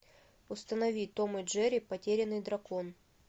установи том и джерри потерянный дракон